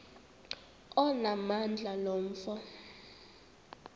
onamandla lo mfo